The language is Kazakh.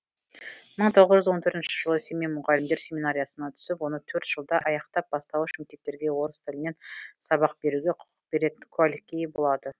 мың тоғыз жүз он төртінші жылы семей мұғалімдер семинариясына түсіп оны төрт жылда аяқтап бастауыш мектептерге орыс тілінен сабақ беруге құқық беретін куәлікке ие болады